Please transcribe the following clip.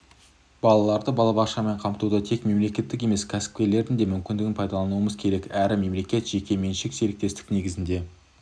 балаларды балабақшамен қамтуда тек мемлекеттің емес кәсіпкерлердің де мүмкіндігін пайдалануымыз керек әрі мемлекеттік-жеке меншік серіктестік негізінде